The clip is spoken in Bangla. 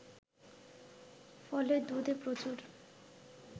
ফলে দুধে প্রচুর